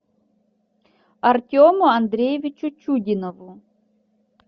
артему андреевичу чудинову